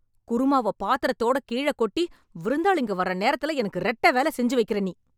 குருமாவை பாத்திரத்தோட கீழ கொட்டி, விருந்தாளிங்க வர்ற நேரத்துல எனக்கு ரெட்டை வேலை செஞ்சு வைக்கறே நீ...